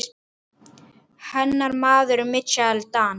Hennar maður er Michael Dal.